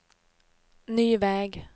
ny väg